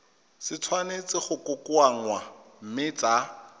tshwanetse go kokoanngwa mme tsa